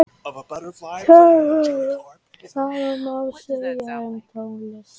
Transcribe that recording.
Sama má segja um tónlist.